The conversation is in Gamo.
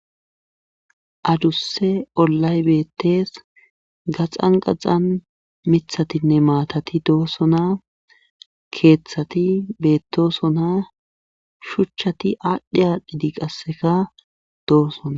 Aduse ollay betes, xanxazan mithatinneatati dosona,kethati betosona , shuchati adhi adhidi qaseka dosona.